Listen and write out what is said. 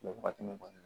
Mɛ wagati min kɔni